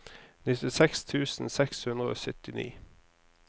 nittiseks tusen seks hundre og syttini